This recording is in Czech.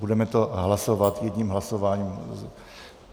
Budeme to hlasovat jedním hlasováním.